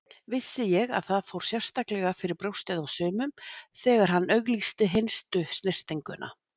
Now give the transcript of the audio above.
Vissi ég að það fór sérstaklega fyrir brjóstið á sumum þegar hann auglýsti hinstu snyrtinguna.